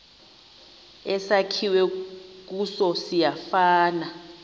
esakhiwe kuso siyafana